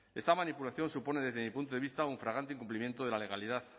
esta manipulación supone desde mi punto de vista un flagrante incumplimiento de la legalidad